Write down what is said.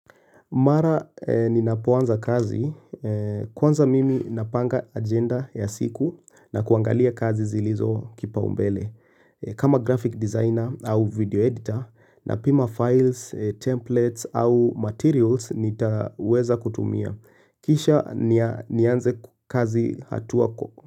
Mara ninapo anza kazi, kwanza mimi ninapanga ajenda ya siku na kuangalia kazi zilizo kipaumbele. Kama graphic designer au video editor napima files, templates au materials nitaweza kutumia. Kisha nianze kazi hatua kwa.